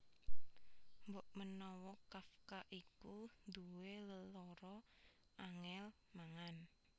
Mbokmenawa Kafka iku nduwé lelara angèl mangan